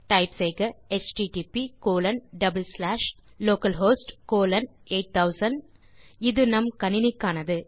type செய்க HTTP colon double slash localhost colon 8000 இது நம் கணினிக்கானது